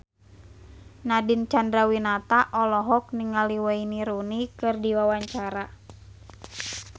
Nadine Chandrawinata olohok ningali Wayne Rooney keur diwawancara